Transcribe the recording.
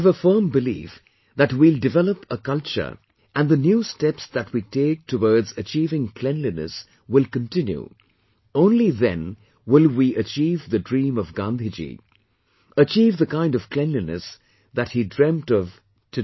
I've a firm belief that we will develop a culture and the new steps that we take towards achieving cleanliness will continue, only then will we achieve the dream of Gandhiji, achieve the kind of cleanliness that he dreamt of, today